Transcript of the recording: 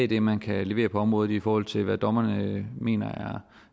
det man kan levere på området i i forhold til det dommerne mener